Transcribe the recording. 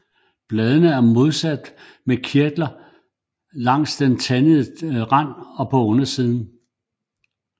Bladene er modsatte med kirtler langs den tandede rand og på undersiden